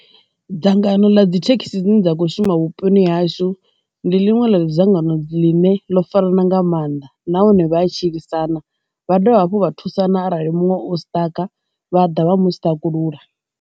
Dzangano ḽa dzithekhisi dzine dza khou shuma vhuponi hashu ndi ḽiṅwe ḽo dzangano ḽine ḽo farana nga maanḓa nahone vha a tshilisana, vha dovha hafhu vha thusana arali muṅwe u siṱaka vha ḓa vha mu saṱakulula.